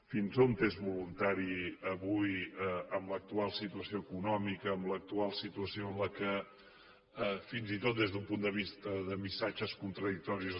fins on és voluntari avui amb l’actual situació econòmica amb l’actual situació en què fins i tot des d’un punt de vista de missatges contradictoris